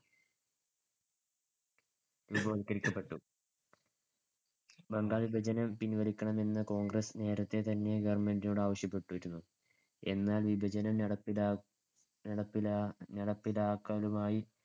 രൂപവൽക്കരിക്കപ്പെട്ടു. ബംഗാൾ വിഭജനം പിൻവലിക്കണമെന്ന് കോൺഗ്രസ്സ് നേരത്തെതന്നെ government നോട് ആവശ്യപ്പെട്ടിരുന്നു. എന്നാൽ വിഭജനം നട ~ നടപ്പിലാ~ നടപ്പിലാക്കലുമായി